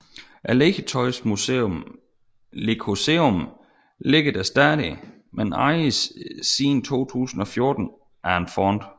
Legetøjsmuseet Lekoseum ligger der stadig men ejes siden 2014 af en fond